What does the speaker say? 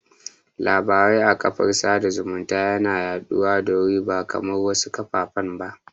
Labarai a karfafan sada zumunta yana yaɗuwa da wuri ba kamar wasu kafafen ba